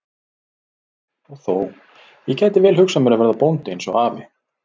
Og þó, ég gæti vel hugsað mér að verða bóndi eins og afi.